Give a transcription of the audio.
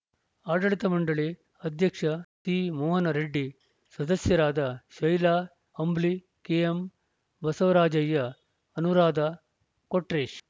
ಆಡಳಿತ ಮಂಡಳಿ ಅಧ್ಯಕ್ಷ ಸಿಮೋಹನ್‌ ರೆಡ್ಡಿ ಸದಸ್ಯರಾದ ಶೈಲಾ ಅಂಬ್ಲಿ ಕೆಎಂ ಬಸವರಾಜಯ್ಯ ಅನುರಾಧ ಕೊಟ್ರೇಶ್‌